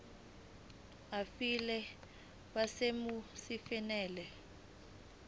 aphile kwisimo esifanele